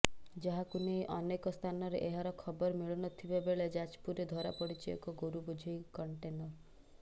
ଯାହାକୁ ନେଇ ଅନେକ ସ୍ଥାନରେ ଏହାର ଖବର ମିଳୁନଥିବାବଳେଳେ ଯାଜପୁରରେ ଧରାପଡ଼ିଛି ଏକ ଗୋରୁ ବୋଝେଇ କଣ୍ଟେନର